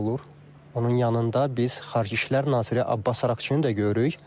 Onun yanında biz Xarici İşlər naziri Abbas Araqçını da görürük.